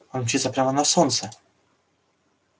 он мчится прямо на солнце